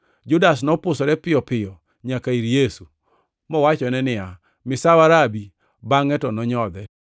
Judas nopusore piyo piyo nyaka ir Yesu, mowachone niya, “Misawa Rabi!” bangʼe to onyodhe.